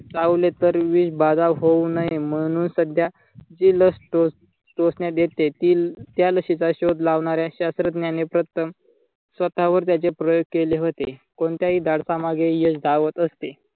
चावले तर विष बाधा होऊ नये म्हणून सध्या जी लास टोच टोचण्यात येते ती त्या लसीचा शोध लावणाऱ्या शात्रज्ञाने प्रथम स्वतःवर त्याचे प्रयोग केले होते कोणत्याही धाडसामागे यश धावत असते.